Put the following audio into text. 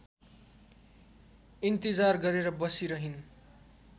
इन्तिजार गरेर बसिरहिन्